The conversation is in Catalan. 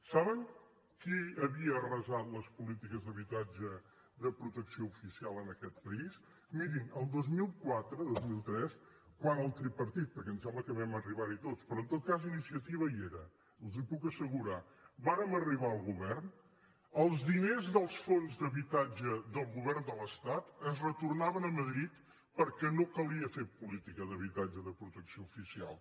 saben qui havia arrasat les polítiques d’habitatge de protecció oficial en aquest país mirin el dos mil quatre dos mil tres quan el tripartit perquè em sembla que vam arribar hi tots però en tot cas iniciativa hi era els ho puc assegurar vàrem arribar al govern els diners dels fons d’habitatge del govern de l’estat es retornaven a madrid perquè no calia fer política d’habitatge de protecció oficial